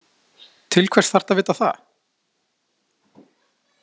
Til hvers þarftu að vita það?